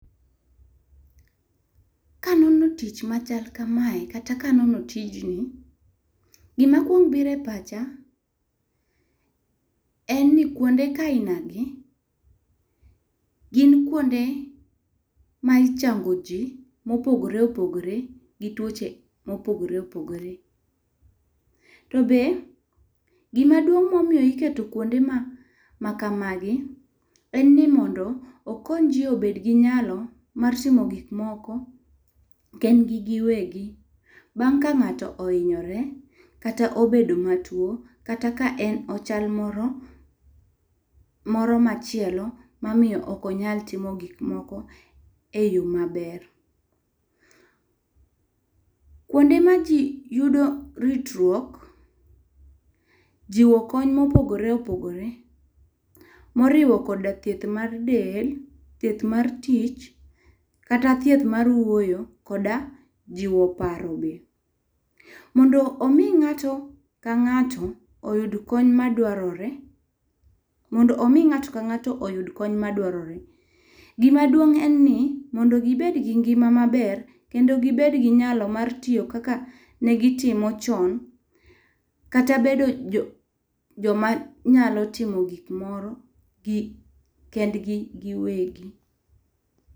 Kanono tij machal kamae kata kanono tijni, gimakwongo biro e pacha en ni kwonde kaina gi gin kwonde ma ichango ji mopogore opogore gi tuoche mopogore opogore. To be gimaduong' momiyo iketo kwonde ma kamagi, en ni mondo okony ji obed gi nylao mar timo gikmoko gin gi giwegi bang' ka ng'ato ohinyore kata obedo matuwo, kata ka en ochal moro machielo mamiyo ok onyal timo gik moko e yo maber. Kwonde ma ji yudo ritruok, jiwo konyo mopogore opogore moriwo koda thieth mar del, thieth mar tich kata thieth mar wuoyo kod ajiwo paro be. Mondo omi ng'ato ka ng'ato oyud kony madwarore, gimaduong' en ni mondo gibed gi ngima maber kendo gibed gi nyalo mar timo kaka ne gitimo chon, kata bedo joma nyalo timo gik moro kendgi giwegi.